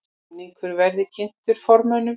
Samningur verði kynntur formönnum